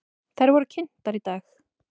Þær voru kynntar í dag.